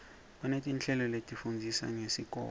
baneti nhleloletifundzisa ngesikoto